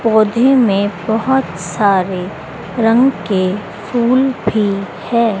पौधे मे बहोत सारे रंग के फूल भी है।